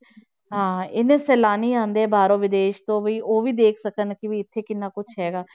ਹਾਂ ਇੰਨੇ ਸੈਲਾਨੀ ਆਉਂਦੇ ਹੈ ਬਾਹਰੋਂ ਵਿਦੇਸ਼ ਤੋਂ ਵੀ ਉਹ ਵੀ ਦੇਖ ਸਕਣ ਕਿ ਵੀ ਇੱਥੇ ਕਿੰਨਾ ਕੁਛ ਹੈਗਾ।